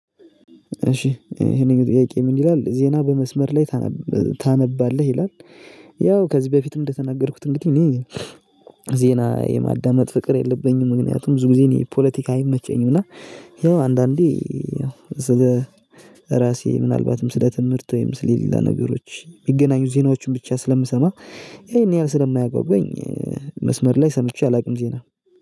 እሺ እሄነኛው ጥያቄ ምን ይላል ዜና በመስመር ላይ ታነባለህ ይላል? ያው ከዚህ በፊትም እንደተናገርኩት እንግዲህ እኔ ዜና የማዳመጥ ፍቅር የለብኝም። ምክንያቱም ብዙ ጊዜ እኔ ፖለቲካ አይመቸኝም። እና ይኸው አንዳንዴ ስለ ራሴ ምናልባትም ስለ ትምህርት ወይም ስለ ሌላ ነገሮች ሚገናኙ ዜናዎችን ብቻ ስለምሰማ። እሄን ያህል ስለማያጋጉዋኝ መስመር ላይ ሰምቼ አላቅም ዜና